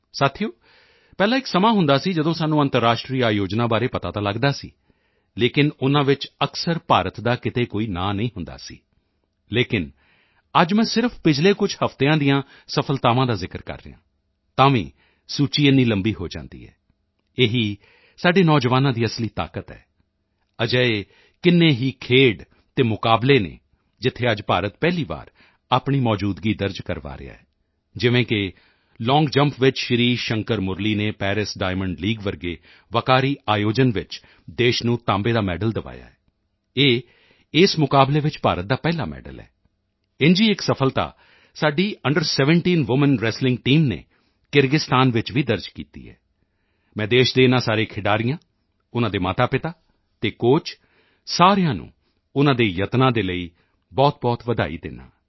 ਸਾਥੀਓ ਪਹਿਲਾਂ ਇੱਕ ਸਮਾਂ ਹੁੰਦਾ ਸੀ ਜਦੋਂ ਸਾਨੂੰ ਅੰਤਰਰਾਸ਼ਟਰੀ ਆਯੋਜਨਾਂ ਬਾਰੇ ਪਤਾ ਤਾਂ ਲਗਦਾ ਸੀ ਲੇਕਿਨ ਉਨ੍ਹਾਂ ਵਿੱਚ ਅਕਸਰ ਭਾਰਤ ਦਾ ਕਿਤੇ ਕੋਈ ਨਾਂ ਨਹੀਂ ਹੁੰਦਾ ਸੀ ਲੇਕਿਨ ਅੱਜ ਮੈਂ ਸਿਰਫ਼ ਪਿਛਲੇ ਕੁਝ ਹਫ਼ਤਿਆਂ ਦੀਆਂ ਸਫ਼ਲਤਾਵਾਂ ਦਾ ਜ਼ਿਕਰ ਕਰ ਰਿਹਾ ਹਾਂ ਤਾਂ ਵੀ ਸੂਚੀ ਇੰਨੀ ਲੰਬੀ ਹੋ ਜਾਂਦੀ ਹੈ ਇਹੀ ਸਾਡੇ ਨੌਜਵਾਨਾਂ ਦੀ ਅਸਲੀ ਤਾਕਤ ਹੈ ਅਜਿਹੇ ਕਿੰਨੇ ਹੀ ਖੇਡ ਅਤੇ ਮੁਕਾਬਲੇ ਹਨ ਜਿੱਥੇ ਅੱਜ ਭਾਰਤ ਪਹਿਲੀ ਵਾਰ ਆਪਣੀ ਮੌਜੂਦਗੀ ਦਰਜ ਕਰਵਾ ਰਿਹਾ ਹੈ ਜਿਵੇਂ ਕਿ ਲੌਂਗ ਜੰਪ ਵਿੱਚ ਸ਼੍ਰੀ ਸ਼ੰਕਰ ਮੁਰਲੀ ਨੇ ਪੈਰਿਸ ਡਾਇਮੰਡ ਲੀਗ ਜਿਹੇ ਵਕਾਰੀ ਆਯੋਜਨ ਵਿੱਚ ਦੇਸ਼ ਨੂੰ ਤਾਂਬੇ ਦਾ ਮੈਡਲ ਦਿਵਾਇਆ ਹੈ ਇਹ ਇਸ ਮੁਕਾਬਲੇ ਵਿੱਚ ਭਾਰਤ ਦਾ ਪਹਿਲਾ ਮੈਡਲ ਹੈ ਇੰਝ ਹੀ ਇੱਕ ਸਫ਼ਲਤਾ ਸਾਡੀ ਅੰਡਰ17 ਵੂਮੈਨ ਰੈਸਲਿੰਗ ਟੀਮ ਨੇ ਕਿਰਗਿਸਤਾਨ ਵਿੱਚ ਵੀ ਦਰਜ ਕੀਤੀ ਹੈ ਮੈਂ ਦੇਸ਼ ਦੇ ਇਨ੍ਹਾਂ ਸਾਰੇ ਖਿਡਾਰੀਆਂ ਉਨ੍ਹਾਂ ਦੇ ਮਾਤਾਪਿਤਾ ਅਤੇ ਕੋਚ ਸਾਰਿਆਂ ਨੂੰ ਉਨ੍ਹਾਂ ਦੇ ਯਤਨਾਂ ਲਈ ਬਹੁਤਬਹੁਤ ਵਧਾਈ ਦਿੰਦਾ ਹਾਂ